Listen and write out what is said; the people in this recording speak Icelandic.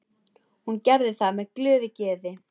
Hún gerði það með glöðu geði.